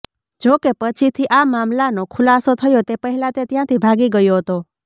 જો કે પછીથી આ મામલાનો ખુલાસો થયો તે પહેલા તે ત્યાંથી ભાગી ગયો હતો